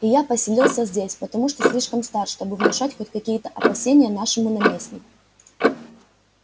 и я поселился здесь потому что слишком стар чтобы внушать хоть какие-то опасения нашему наместнику